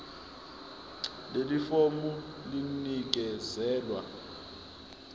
leli fomu linikezelwe